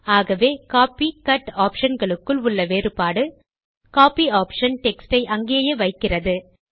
ஆகவே copy cut option களுக்குள் உள்ள வேறுபாடு கோப்பி ஆப்ஷன் டெக்ஸ்ட் யை அங்கேயே வைக்கிறது